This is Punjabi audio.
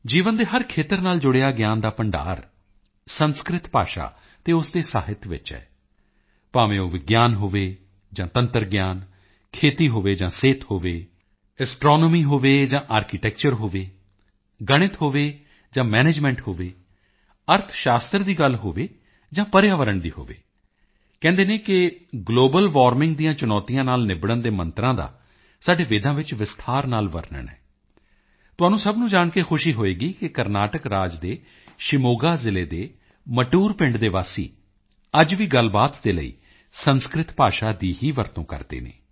ਜੀਵਨ ਦੇ ਹਰ ਖੇਤਰ ਨਾਲ ਜੁੜਿਆ ਗਿਆਨ ਦਾ ਭੰਡਾਰ ਸੰਸਕ੍ਰਿਤ ਭਾਸ਼ਾ ਅਤੇ ਉਸ ਦੇ ਸਾਹਿਤ ਵਿੱਚ ਹੈ ਭਾਵੇਂ ਉਹ ਵਿਗਿਆਨ ਹੋਵੇ ਜਾਂ ਤੰਤਰ ਗਿਆਨ ਖੇਤੀ ਹੋਵੇ ਜਾਂ ਸਿਹਤ ਹੋਵੇ ਐਸਟ੍ਰੋਨੋਮੀ ਹੋਵੇ ਜਾਂ ਆਰਕੀਟੈਕਚਰ ਹੋਵੇ ਗਣਿਤ ਹੋਵੇ ਜਾਂ ਮੈਨੇਜਮੈਂਟ ਹੋਵੇ ਅਰਥ ਸ਼ਾਤਰ ਦੀ ਗੱਲ ਹੋਵੇ ਜਾਂ ਪਰਿਆਵਰਨ ਦੀ ਹੋਵੇ ਕਹਿੰਦੇ ਨੇ ਕਿ ਗਲੋਬਲ ਵਾਰਮਿੰਗ ਦੀਆਂ ਚੁਣੌਤੀਆਂ ਨਾਲ ਨਿਬੜਣ ਦੇ ਮੰਤਰ ਸਾਡੇ ਵੇਦਾਂ ਵਿੱਚ ਵਿਸਥਾਰ ਨਾਲ ਵਰਨਣ ਹੈ ਤੁਹਾਨੂੰ ਸਭ ਨੂੰ ਜਾਣ ਕੇ ਖੁਸ਼ੀ ਹੋਵੇਗੀ ਕਿ ਕਰਨਾਟਕ ਰਾਜ ਦੇ ਸ਼ਿਵਮੋਗਾ ਜ਼ਿਲੇ ਦੇ ਮਟੂਟਰ ਪਿੰਡ ਦੇ ਵਾਸੀ ਅੱਜ ਵੀ ਗੱਲਬਾਤ ਦੇ ਲਈ ਸੰਸਕ੍ਰਿਤ ਭਾਸ਼ਾ ਦੀ ਹੀ ਵਰਤੋਂ ਕਰਦੇ ਹਨ